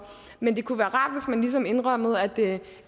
men det kunne være rart hvis man ligesom indrømmede